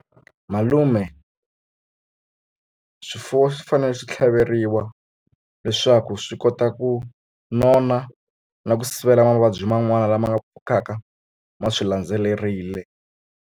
Malume swifuwo swi fanele swi tlhaveriwa leswaku swi kota ku nona na ku sivela mavabyi man'wana lama nga pfukaka ma swi landzelerile.